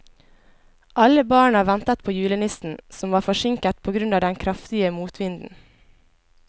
Alle barna ventet på julenissen, som var forsinket på grunn av den kraftige motvinden.